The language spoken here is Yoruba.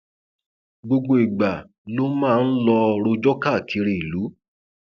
gbogbo ìgbà ló máa ń lọọ rọjò káàkiri ìlú